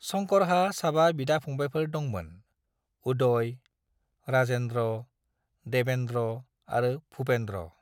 शंकरहा साबा बिदा-फंबायफोर दंमोन, उदय, राजेन्द्र, देवेन्द्र आरो भूपेन्द्र।